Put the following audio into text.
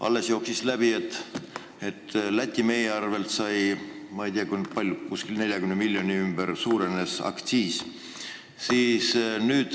Alles jooksis läbi, et Läti on Eesti aktsiisipoliitika tõttu saanud meie arvel, ma ei tea, kui palju, vist 40 miljoni euro ringis.